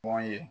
Kɔn ye